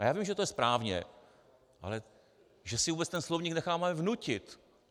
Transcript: A já vím, že to je správně, ale že si vůbec ten slovník necháme vnutit.